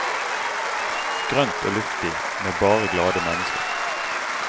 Grønt og luftig, med bare glade mennesker.